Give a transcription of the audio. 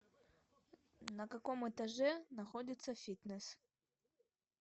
на каком этаже находится фитнес